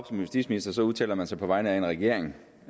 som justitsminister udtaler man sig på vegne af regeringen